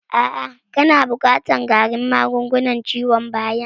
A'a kana buƙatan ƙarin magungunan ciwon bayan